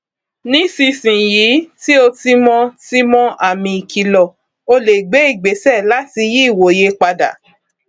nísinsin yìí tí o ti mọ ti mọ àmì ìkìlọ o lè gbé ìgbéṣẹ láti yí ìwòye padà